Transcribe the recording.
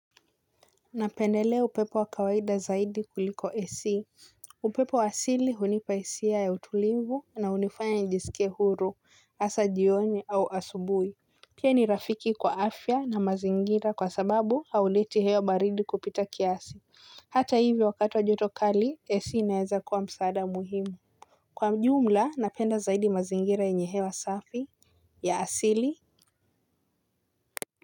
Napendelea upepo wa kawaida zaidi kuliko esi. Upepo wa asili hunipa hisia ya utulivu na unifanya nijisike huru, hasa jioni au asubui. Pia ni rafiki kwa afya na mazingira kwa sababu hauleti hewa baridi kupita kiasi. Hata hivyo wakatu wa jotokali esi inaeza kuwa msaada muhimu. Kwa jumla napenda zaidi mazingira yenye hewa safi ya asili.